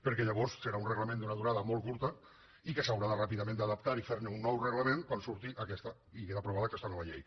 perquè llavors serà un reglament d’una durada molt curta i que s’haurà de ràpidament adaptar i fer un nou reglament quan surti i quedi aprovada aquesta nova llei